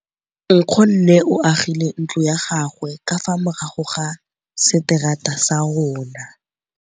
Nkgonne o agile ntlo ya gagwe ka fa morago ga seterata sa rona.